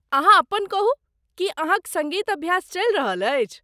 अहाँ अपन कहू, की अहाँक सङ्गीत अभ्यास चलि रहल अछि?